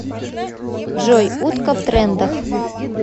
джой утка в трендах